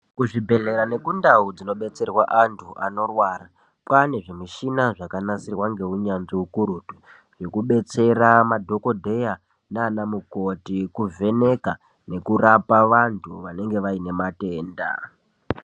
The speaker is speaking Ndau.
Kuzvibhedhlera nekundau kunobetserwa antu anorwara pane zvimushina zvakagadzirwa ngeunyanzvi ukurutu zvekudetsera madhokodheya nanamukoti kuvheneka nekurapa anhu anenge vaine matenda.